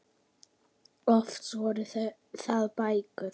Oftast voru það bækur.